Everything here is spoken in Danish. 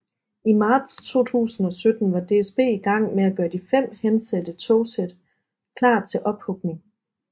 I marts 2017 var DSB i gang med at gøre de fem hensatte togsæt klar til ophugning